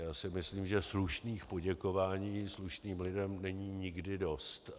Já si myslím, že slušných poděkování slušným lidem není nikdy dost.